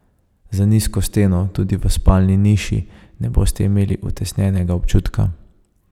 Z nizko steno tudi v spalni niši ne boste imeli utesnjenega občutka.